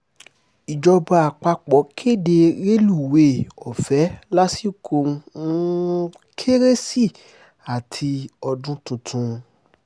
ìjọba àpapọ̀ kéde rélùwéè ọ̀fẹ́ lásìkò um kérésì àti ọdún tuntun